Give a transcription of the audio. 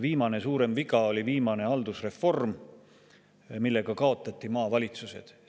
Viimane suurem viga oli haldusreform, millega kaotati maavalitsused.